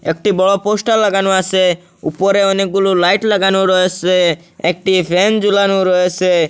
একটি বড় পোস্টার লাগানো আছে উপরে অনেকগুলো লাইট লাগানো রয়েছে একটি ফ্যান ঝুলানো রয়েছে।